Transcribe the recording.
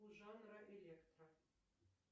у жанра электро